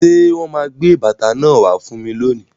Ṣé wọn máa gbé bàtà náà wá fún mi lónìí?